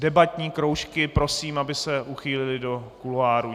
Debatní kroužky prosím, aby se uchýlily do kuloárů.